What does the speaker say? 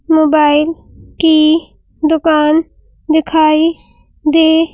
mobile की दुकान दिखाई दे --